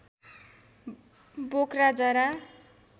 बोक्रा जरा